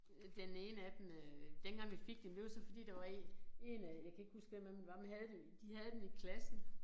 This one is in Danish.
Øh den ene af dem øh dengang vi fik dem det var så fordi der var 1 1 af jeg kan ikke huske hvem af dem det var men havde det de havde den i klassen